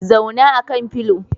Zauna akan filio